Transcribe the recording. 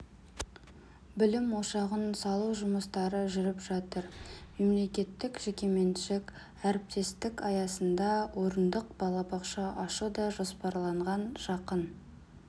білім ошағын салу жұмыстары жүріп жатыр мемлекеттік-жекеменшік әріптестік аясында орындық балабақша ашу да жоспарланған жақын